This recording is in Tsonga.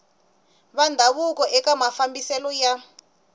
va ndhavuko eka mafambiselo ya